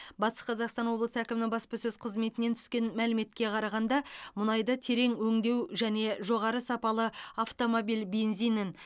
батыс қазақстан облысы әкімі баспасөз қызметінен түскен мәліметке қарағанда мұнайды терең өңдеу және жоғары сапалы автомобиль бензинін